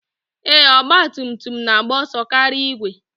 Ee, Ọgbatumtum na-agba ọso karịa igwe